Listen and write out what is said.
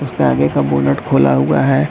उसका आगे का बोनट खुला हुआ है।